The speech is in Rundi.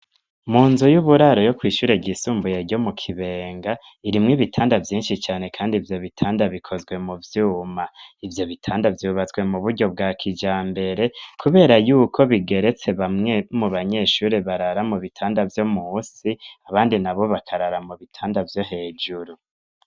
Mu nzu y'uburaro yo kw'ishure ryisumbuye yo mu kibenga irimwo ibitanda vyinshi cane kandi ivyo bitanda bikozwe mu vyuma ivyo bitanda vyubatswe mu buryo bwa kijambere kubera yuko bigeretse bamwe mu banyeshuri barara mu bitanda vyo musi abandi na bo bakarara mu bitanda vyo hejuru.